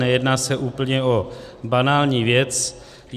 Nejedná se o úplně banální věc.